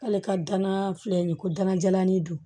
K'ale ka danaya filɛ nin ye ko dana jalani don